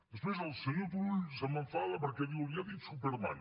després el senyor turull se m’enfada perquè diu li ha dit superman